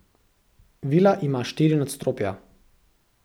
Vila ima štiri nadstropja.